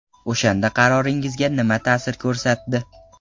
O‘shanda qaroringizga nima ta’sir ko‘rsatdi?